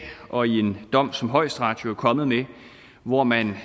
og i en dom som højesteret jo er kommet med hvor man